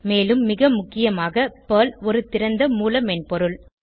மேலும் மிக முக்கியமாக பெர்ல் ஒரு திறந்த மூல மென்பொருள்